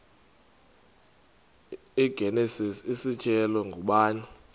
igenesis isityhilelo ngubani